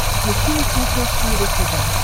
включи на смотрешке его тв